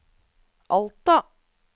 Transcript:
Alta